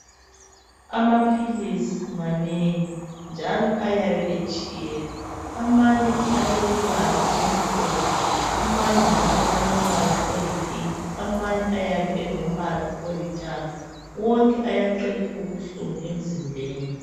Amaphilisi manengi, njalo ayabe etshiyene. Amanye alèmibala emhlophe. Amanye njalo alombala oyipink. Amanye ayabe elombala olithanga. Wonke ayaqeda ubuhlungu emzimbeni.